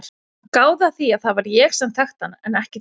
Gáðu að því að það var ég sem þekkti hann en ekki þú.